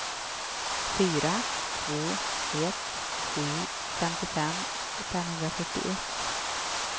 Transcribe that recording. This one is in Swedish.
fyra två ett sju femtiofem femhundrafyrtioett